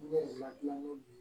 Ne ma gilan ko bi